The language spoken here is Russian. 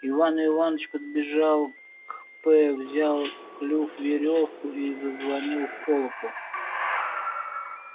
иван иваныч подбежал к п взял в клюв верёвку и зазвонил в колокол